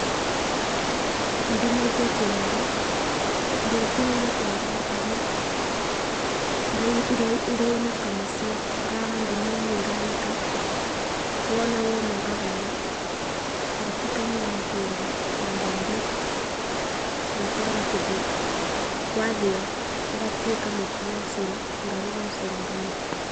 Ndinagia kĩongo, ndĩũtinagia kĩongo na kabiũ, ngainũka mũciĩ ngara ngũnia-inĩ nganĩka. Wona woma ngabũra ngatukania na kĩndũ ta mbembe ngatwara kĩthĩi wathĩywo ũgatuĩka mũtu wa ũcũrũ, ngaruga ũcũrũ nganyua.